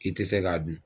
I tɛ se k'a dun